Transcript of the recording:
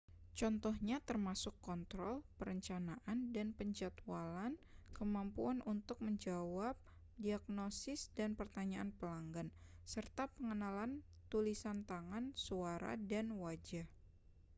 contohnya termasuk kontrol perencanaan dan penjadwalan kemampuan untuk menjawab diagnosis dan pertanyaan pelanggan serta pengenalan tulisan tangan suara dan wajah